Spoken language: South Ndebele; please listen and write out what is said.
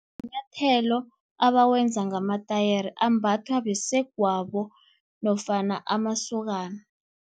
Manyathelo abawenza ngamatayere, ambathwa basegwabo nofana amasokana.